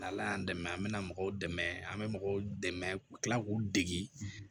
N' ala y'an dɛmɛ an bɛ na mɔgɔw dɛmɛ an bɛ mɔgɔw dɛmɛ ka kila k'u degi